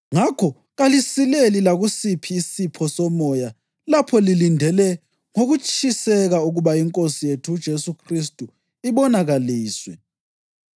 Ngakho kalisileli lakusiphi isipho somoya lapho lilindele ngokutshiseka ukuba iNkosi yethu uJesu Khristu ibonakaliswe.